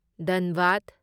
ꯙꯟꯕꯥꯗ